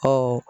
Ɔ